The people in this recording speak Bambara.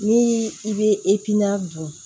Ni i bɛ bɔn